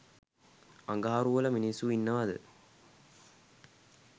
අඟහරු වල මින්ස්සු ඉන්නවද